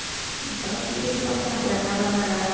அப்புறம் serial பார்ப்பேன் அப்புறம் என்ன பண்ண வேற